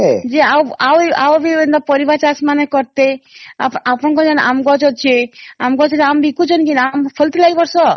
ଜେଆ ଆଉ ଆଉ ବି ପରିବା ଚାଷ ମାନେ କର୍ତେ ଅପଣଂକର ପାଖେ ଆମ ଗଛ ଅଛେ ଆମ ଗଛେ ଆମ ବିକୁଚେ ନ ନାଇଁ ଆମ ଫଳିଥିଲା ଏ ବର୍ଷ ?